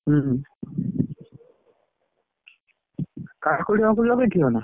ହୁଁ! କାକୁଡି ଫାକୁଡି ଲଗେଇଥିଲ ନା?